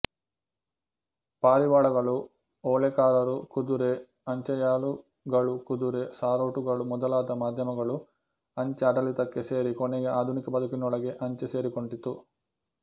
ಪಾರಿವಾಳಗಳುಓಲೆಕಾರರುಕುದುರೆ ಅಂಚೆಯಾಳುಗಳುಕುದುರೆ ಸಾರೋಟುಗಳು ಮೊದಲಾದ ಮಾಧ್ಯಮಗಳು ಅಂಚೆ ಆಡಳಿತಕ್ಕೆ ಸೇರಿ ಕೊನೆಗೆ ಆಧುನಿಕ ಬದುಕಿನೊಳಗೆ ಅಂಚೆ ಸೇರಿಕೊಂಡಿತು